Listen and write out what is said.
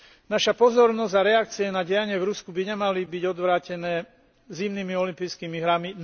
Naša pozornosť a reakcie na dianie v Rusku by nemali byť odvrátené zimnými olympijskými hrami.